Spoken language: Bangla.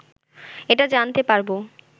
এটা জানতে পারব